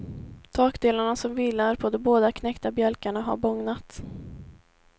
Takdelarna som vilar på de båda knäckta bjälkarna har bågnat.